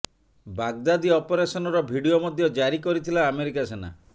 Baghdadi ଅପରେସନ୍ର video ମଧ୍ୟ ଜାରି କରିଥିଲା ଆମେରିକା ସେନା